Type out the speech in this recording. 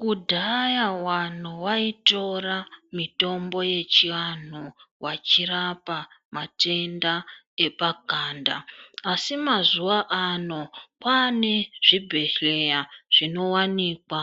Kudhaya vanhu vaitora mitombo yechivanhu vachirapa matenda epanganda. Asi mazuva ano kwaane zvibhedhleya zvinowanikwa